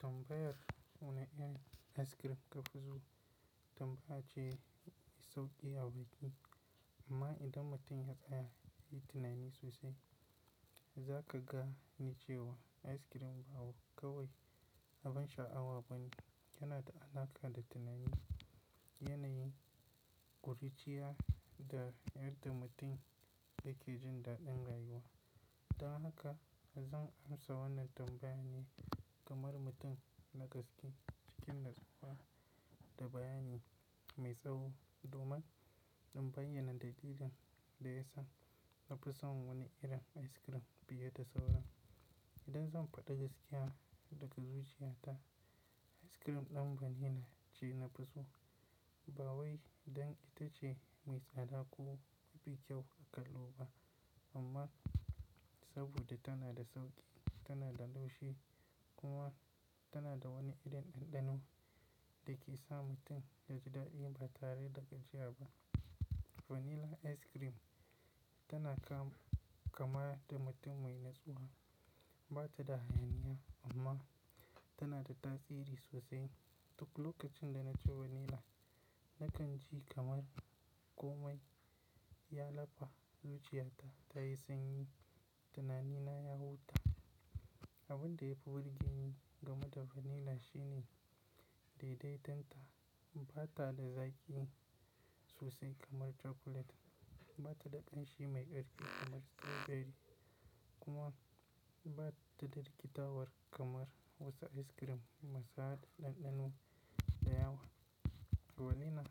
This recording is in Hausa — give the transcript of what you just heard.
Tambayar wani irin ice cream kafi so tambaya ce mai sauki a buki amma idan mutum ya tsaya yayi tunani sosai za ka gane cewa ice cream ba kawai abin sha'awa bane yana da alaƙa da tunani, yanayi, ƙuri'ciya da yadda mutum yake jin daɗin rayuwa. Don haka zan amsa wannan tambayar ne kamar mutum na gaske cikin natsuwa da bayani mai tsawo domin in bayyana dalilin da yasa nafi son wani irin ice cream fiye da sauran. Idan zan faɗi gaskiya daga zuciya ta ice cream ɗin vanilla ce nafi so ba wai dan ita ce mai tsada ko mafi kyau a kallo ba amma saboda tana da sauƙi, tana da laushi kuma tana da wani irin ɗanɗano da ke sa mutum ya ji daɗi ba tare da gajiya ba. Vanilla ice cream tana kama kamar da mutum mai natsuwa bata da hayaniya amma tana da tasiri sosai. Duk lokacin da na ci vanilla nakan ji kamar komai ya lafa zuciya ta ta yi sanyi tunani na ya huta. Abin da yafi burge ni game da vanilla shine daidaiton ta bata da zaƙi sosai kamar chocolate bata da ƙanshi mai ƙarfi kamar strawberry kuma bata da rikitarwar kamar wasu ice cream masu haɗe ɗanɗano da yawa. Vanilla